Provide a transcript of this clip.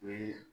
O ye